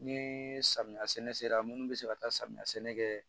Ni samiya sɛnɛ sera munnu bɛ se ka taa samiya sɛnɛ kɛ